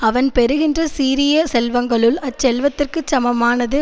அவன் பெறுகின்ற சீரிய செல்வங்களுள் அச்செல்வத்திற்குச் சமமானது